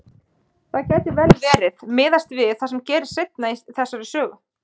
Það gæti vel verið, miðað við það sem gerist seinna í þessari sögu.